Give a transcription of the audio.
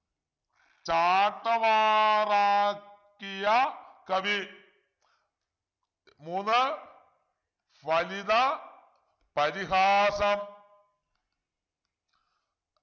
ചാട്ടവാറാക്കിയ കവി മൂന്ന് ഫലിത പരിഹാസം